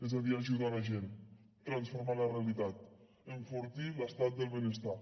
és a dir ajudar la gent transformar la realitat enfortir l’estat del benestar